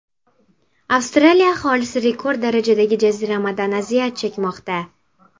Avstraliya aholisi rekord darajadagi jaziramadan aziyat chekmoqda.